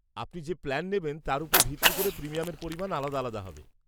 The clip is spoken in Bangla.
-আপনি যে প্ল্যান নেবেন তার ওপর ভিত্তি করে প্রিমিয়ামের পরিমাণ আলাদা আলাদা হবে।